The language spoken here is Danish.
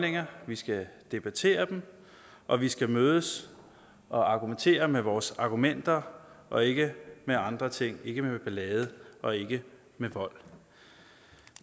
vi skal debattere dem og at vi skal mødes og argumentere med vores argumenter og ikke med andre ting ikke med ballade og ikke med vold